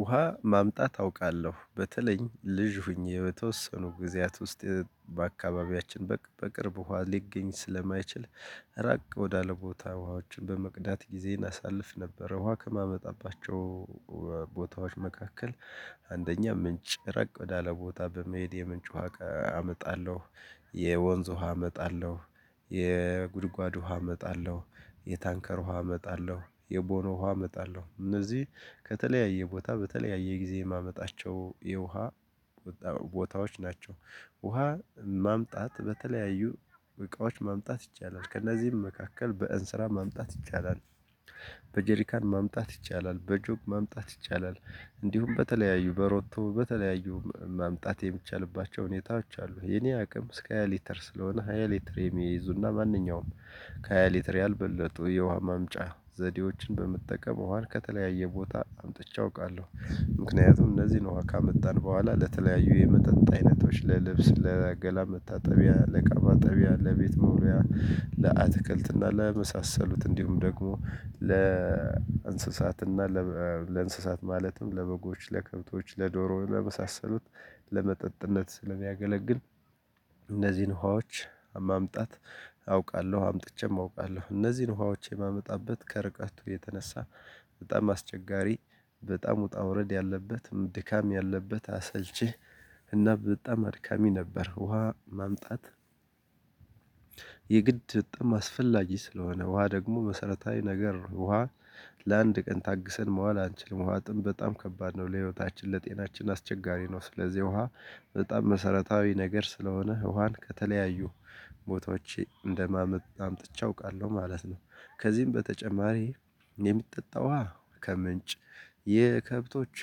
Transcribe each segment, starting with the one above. ውሃ ማምጣት አውቃለሁ በተለይም ልጅ ሁኜ በተወሰኑ ጊዜያት ውስጥ በአካባቢያችን በቅርብ ውሃ ሊገኝ ስለማይችል ራቅ ወዳለ ቦታ ውሃዎችን በመቅዳት ጊዜ እናሳልፍ ነበር። ውሃ ከማመጣባቸው ቦታዎች መካከል። አንደኛ ምንጭ ራቅ ወዳለ ቦታ በመሄድ የምንጭ ውሃ አመጣለሁ። የወንዝ ውሃ አመጣለሁ። የጉድጓድ ውሃ እመጣለሁ የታንከር ውሃ እመጣለሁ የቦኖ ውሃ እመጣለሁ እነዚህ ከተለያየ ቦታ በተለያየ ጊዜ የማመጣቸው የውሃ ቦታዎች ናቸው። ውሃ ማምጣት በተለያዩ እቃዎች ማምጣት ይቻላል ከእነዚህም መካከል በእንስራ ማምጣት ይቻላል። በጀሪካን ማምጣት ይቻላል በጆክ ማምጣት ይቻላል። እንዲሁም በተለያዩ በሮቶ በተለያዩ ማምጣት የሚቻልባቸው ሁኔታዎች አሉ። የኔ አቅም እስከ ሃይ ሊተር ስለሆነ ሃይ ሊተር የሚይዙ እና ማንኛውም ከሀ ሊትር ያልበለጠው የውሃ ማምጫ ዘዴዎችን በመጠቀም ወሃን ከተለያየ ቦታ አምጥቼ አውቃለሁ። ምክንያቱም እነዚህን ውሃ ካመጣን በኋላ ለተለያዩ የመጠጥ አይነቶች ለልብስ ለገላ መታጠቢያ ለቃባ ጠቢያ ለቤት መልዎያ ለአትክልት እና ለመሳሰሉት እንዲሁም ደግሞ ለእንስሳት እና ለእንስሳት ማለትም ለበጎች ለከብቶች ለዶሮ ለመሳሰሉት ለመጠጥነት ስለሚያገለግል። እነዚህን ውሃዎች ማምጣት አውቃለሁ አምጥቼም አውቃለሁ። እነዚህን ውሃዎች የማመጣበት ከርቀቱ የተነሳ በጣም አስቸጋሪ በጣም ውጣ ውረድ ያለበትም ድካም ያለበት አሰልቺ እና በጣም አድካሚ ነበር። ውሃ ማምጣት። የግድ በጣም አስፈላጊ ስለሆነ ውሃ ደግሞ መሰረታዊ ነገር ውሃ ለአንድ ቀን ታግሰን መዋል አንችልም። ውሃ ጥም በጣም ከባድ ነው። ለህይወታችን ለጤናችን አስቸጋሪ ነው። ስለዚህ ውሃ በጣም መሰረታዊ ነገር ስለሆነ ውሃን ከተለያዩ ቦታዎቼ እንደማምጥ አምጥቼ አውቃለሁ ማለት ነው። ከዚህም በተጨማሪ የምትጠጣው ውሃ ከምንጭ የከብቶች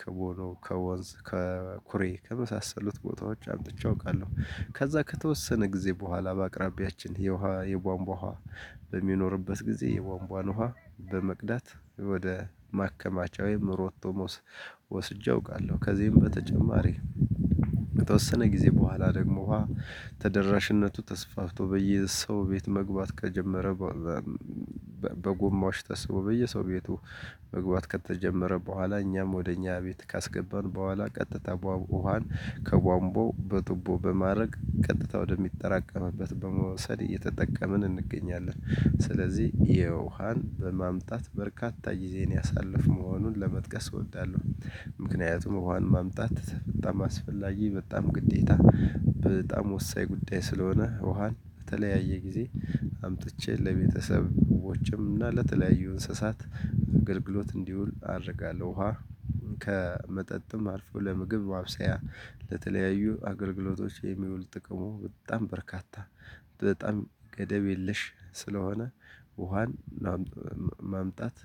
ከቦሎ ከወንዝ ከኩሬ ከመሳሰሉት ቦታዎች አምጥቼ አውቃለሁ። ከዛ ከተወሰነ ጊዜ በኋላ በአቅራቢያችን የውሃ የቧንቧ ውሃ በሚኖርበት ጊዜ የቧንቧን ውሃ በመቅዳት ወደ ማከማቻው ሮቶ ወስጄ አውቃለሁ። ከዚህም በተጨማሪ በተወሰነ ጊዜ በኋላ ደግሞ ውሃ ተደራሽነቱ ተስፋፍቶ በየሰው ቤት መግባት ከጀመረ። በጎማዎች ተስቦ በየሰው ቤቱ መግባት ከተጀመረ በኋላ እኛም ወደ እኛ ቤት ካስገባን በኋላ ቀጥታ ውሃን ከቧንቧው በትቦ በማድረግ ቀጥታ ወደሚጠራቀምበት በመወሰድ እየተጠቀምን እንገኛለን። ስለዚህ የውሃን በማምጣት በርካታ ጊዜን ያሳለፍኩ መሆኑን ለመጥቀስ እወዳለሁ። ምክንያቱም ውሃን ማምጣት በጣም አስፈላጊ በጣም ግዴታ በጣም ወሳኝ ጉዳይ ስለሆነ ውሃን በተለያየ ጊዜ አምጥቼ ለቤተሰቦቼም እና ለተለያዩ እንስሳት አገልግሎት እንዲውል አደርጋለሁ። ውሃ ከመጠጥም አርፎ ለምግብ ማብሰያ ለተለያዩ አገልግሎቶች የሚውል ጥቅሙ በጣም በርካታ በጣም ገደብ የለሽ ስለሆነ። ውሃን ማምጣት